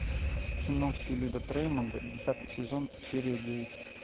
кино все любят рэймонда десятый сезон серия девять